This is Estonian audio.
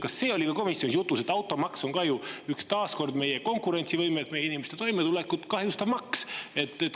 Kas see oli ka komisjonis jutuks, et automaks on taas kord meie konkurentsivõimet ja inimeste toimetulekut kahjustav maks?